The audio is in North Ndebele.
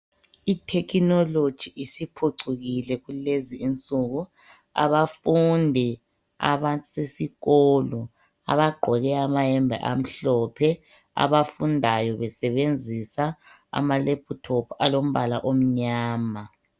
Ithekinoloji isiphucukile kulezi insuku abafundi abasesikolo abagqoke amayembe amhlophe, abafundayo besebenzisa ama laptop alombala omnyama.